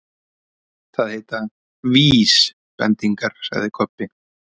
Það heita VÍSbendingar, sagði Kobbi.